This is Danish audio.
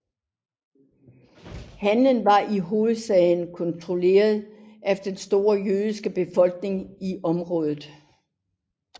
Handelen var i hovedsagen kontrolleret af den store jødiske befolkning i området